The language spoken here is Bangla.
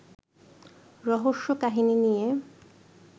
রহস্যকাহিনী নিয়ে